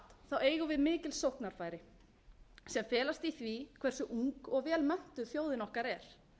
allt eigum við mikil sóknarfæri sem felast í því hversu ung og vel menntuð þjóðin okkar er